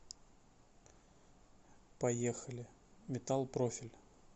поехали металл профиль